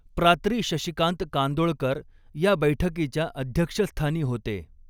प्रात्री शशिकांत कांदोळकर या बैठकीच्या अध्यक्षस्थानी होते.